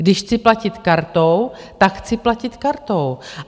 Když chci platit kartou, tak chci platit kartou.